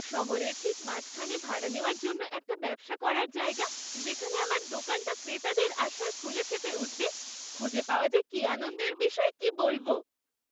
শহরের ঠিক মাঝখানে ভাড়া নেওয়ার জন্য একটা ব্যবসা করার জায়গা, যেখানে আমার দোকানটা ক্রেতাদের আসায় ফুলে ফেঁপে উঠবে, খুঁজে পাওয়া যে কী আনন্দের বিষয় কি বলব।